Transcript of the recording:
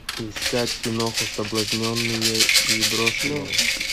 искать киноху соблазненные и брошенные